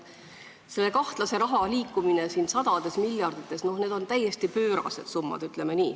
Seda kahtlast raha liikus sadades miljardites, need on täiesti pöörased summad, ütleme nii.